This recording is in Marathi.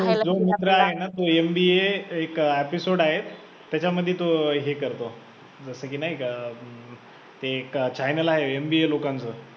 जो मुलगा आहे ना तो MBA एक episode आहे त्याच्यामध्ये तो ही करतो, जसं की नाही का अं ते एक channel आहे MBA लोकांचं